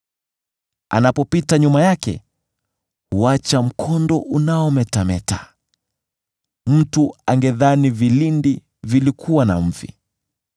Anapopita nyuma yake huacha mkondo unaometameta; mtu angedhani vilindi vilikuwa na mvi.